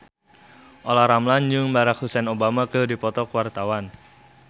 Olla Ramlan jeung Barack Hussein Obama keur dipoto ku wartawan